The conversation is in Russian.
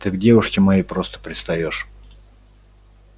ты к девушке моей просто пристаёшь